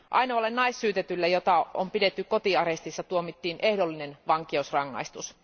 Ainoalle naissyytetylle, jota on pidetty kotiarestissa, tuomittiin ehdollinen vankeusrangaistus.